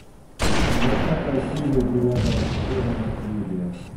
двадцатая серия девятого сезона наследие